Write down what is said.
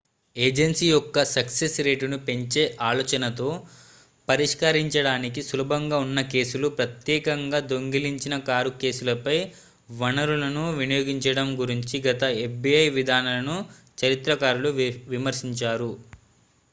agency యొక్క success రేటును పెంచే ఆలోచనతో పరిష్కరించడానికి సులభంగా ఉన్న కేసులు ప్రత్యేకంగా దొంగిలించిన కారు కేసులపై వనరులను వినియోగించడం గురించి గత fbi విధానాలను చరిత్రకారులు విమర్శించారు